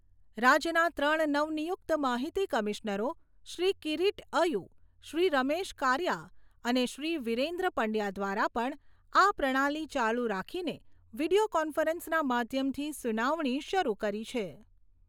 રાજ્યના ત્રણ નવનિયુક્ત માહિતી કમિશનરો શ્રી કિરીટ અયુ, શ્રી રમેશ કારિયા અને શ્રી વિરેન્દ્ર પંડ્યા દ્વારા પણ આ પ્રણાલી ચાલુ રાખીને વિડિયો કોન્ફરન્સના માધ્યમથી સુનાવણી શરૂ કરી છે.